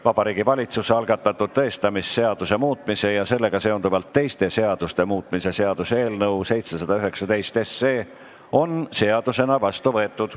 Vabariigi Valitsuse algatatud tõestamisseaduse muutmise ja sellega seonduvalt teiste seaduste muutmise seaduse eelnõu on seadusena vastu võetud.